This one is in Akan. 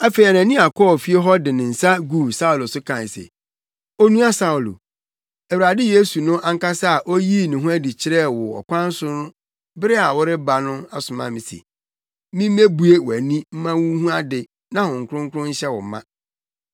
Afei Anania kɔɔ fie hɔ de ne nsa guu Saulo so kae se, “Onua Saulo, Awurade Yesu no ankasa a oyii ne ho adi kyerɛɛ wo wɔ ɔkwan so bere a woreba no asoma me se, mimmebue wʼani mma wunhu ade na Honhom Kronkron nhyɛ wo ma.”